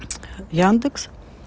яндекс